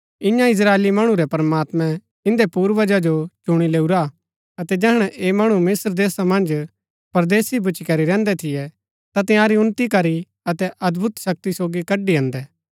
ईयां इस्त्राएली मणु रै प्रमात्मैं इन्दै पूर्वजा जो चुणी लैऊरा अतै जैहणै ऐह मणु मिस्त्र देशा मन्ज परदेसी भूच्ची करी रैहन्दै थियै ता तंयारी उन्‍नति करी अतै अदभुत शक्ति सोगी कड़ी अन्दै